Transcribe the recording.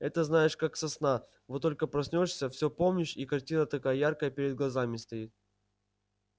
это знаешь как сосна вот только проснёшься все помнишь и картина такая яркая перед глазами стоит